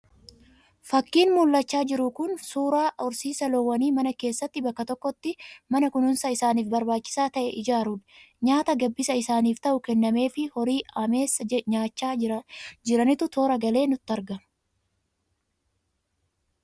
Fakiin mul'achaa jiru kun suuraa horsiisa loowwanii mana keessatti bakka tokkotti man a kunuunsa isaaniif barbaachisaa ta'e ijaaruudhaan, nyaata gabbisa isaaniif ta'u kennameefii horii ameesa nyaachaa jiranitu toora galee nutti argama.